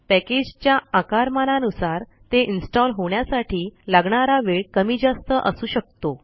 पॅकेजच्या आकारमानानुसार ते इन्स्टॉल होण्यासाठी लागणारा वेळ कमी जास्त असू शकतो